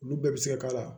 Olu bɛɛ bɛ se ka k'a la